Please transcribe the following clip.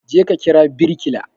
Je ka kira birkila